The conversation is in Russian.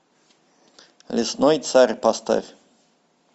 лесной царь поставь